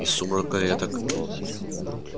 из сумрака я так